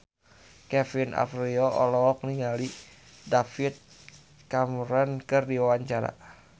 Kevin Aprilio olohok ningali David Cameron keur diwawancara